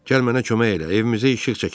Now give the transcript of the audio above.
Gəl mənə kömək elə, evimizə işıq çəkək.